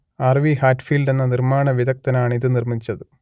R V Hatfield എന്ന നിർമ്മാണ വിദഗ്ദ്ധനാണിത് നിർമ്മിച്ചത്